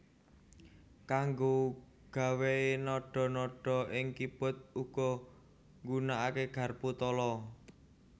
Kanggo nggawé nadha nadha ing keyboard uga nggunakaké garpu tala